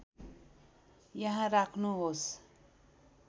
यहाँ राख्नुहोस्